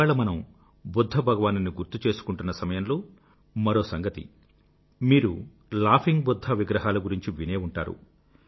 ఇవాళ మనం బుధ్ధ భగవానుని గుర్తు చేసుకుంటున్న సమయంలో మరో సంగతి మీరు లాఫింగ్ బుధ్ధా విగ్రహాల గురించి వినే ఉంటారు